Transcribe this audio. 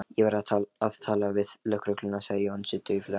Ég verð að tala við lögregluna sagði Jónsi dauflega.